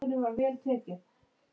Eru álfar til?